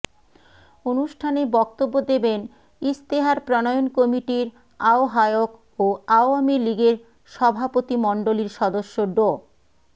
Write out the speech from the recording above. অনুষ্ঠানে বক্তব্য দেবেন ইশতেহার প্রণয়ন কমিটির আহ্বায়ক ও আওয়ামী লীগের সভাপতিমণ্ডলীর সদস্য ড